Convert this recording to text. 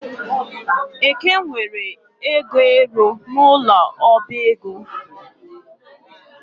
Eke nwere ego ero n'ụlọ ọbaego